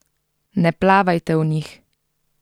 Ne plavajte v njih!